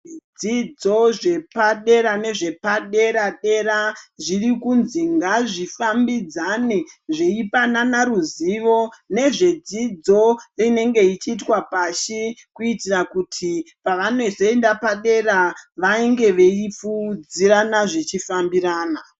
Zvidzidzo zvepadera nezvepadera-dera ,zviri kunzi ngazvifambidzane, zveipanana ruzivo nezvedzidzo inenge ichiitwa pashi, kuitira kuti pavanozoenda padera vange veipfuudzirana zvichifambirana.